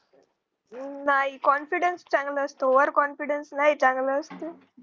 नाही confidence चांगला असतो over confidence नाही चांगला असतो